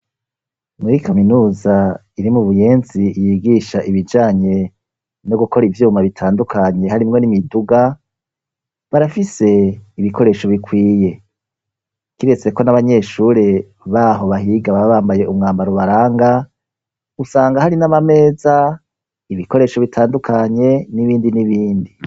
Muri kaminuza iri mu Buyenzi yigisha ibijanye no gukora ivyuma bitandukanye harimwo n'imiduga, barafise ibikoresho bikwiye, kiretse ko n'abanyeshure baho bahiga baba bambaye umwambaro ubaranga, usanga hari n'amameza, ibikoresho bitandukanye n'ibindi n'ibindi.